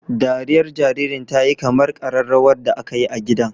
Dariyar jaririn ta yi kamar kararrawar da aka yi a gidan.